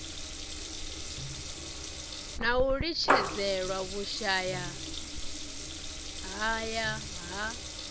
na u litshedzelwa vhushayahaya ha